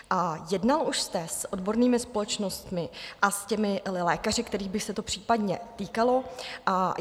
A jednal už jste s odbornými společnostmi a s těmi lékaři, kterých by se to případně týkalo?